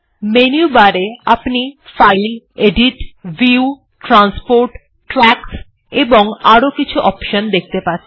menu bar এ আপনি file edit view transport tracks এবং আরো কিছু অপশন দেখতে পাচ্ছেন